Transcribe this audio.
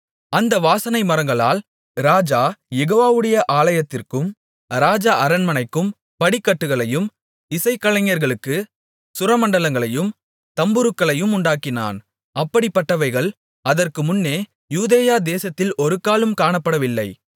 அந்த வாசனை மரங்களால் ராஜா யெகோவாவுடைய ஆலயத்திற்கும் ராஜ அரண்மனைக்கும் படிக்கட்டுகளையும் இசைக்கலைஞர்களுக்குச் சுரமண்டலங்களையும் தம்புருக்களையும் உண்டாக்கினான் அப்படிப்பட்டவைகள் அதற்கு முன்னே யூதேயா தேசத்தில் ஒருக்காலும் காணப்படவில்லை